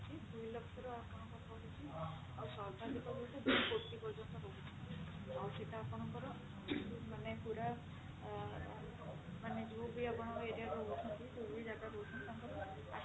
ଦୁଇ ଲକ୍ଷରୁ ଆପଣଙ୍କର ରହୁଛି ଆଉ ସର୍ବାଧିକ ଯୋଉଟା ଦୁଇ କୋଟି ପର୍ଯ୍ୟନ୍ତ ରହୁଛି ଆଉ ସେଟା ଆପଣଙ୍କର ମାନେ ପୁରା ଆ ମାନେ ଯୋଉ ବି ଆପଣ area ରହୁଛନ୍ତି ଯୋଊ ବି ଜାଗାରେ ରହୁଛନ୍ତି ତାଙ୍କର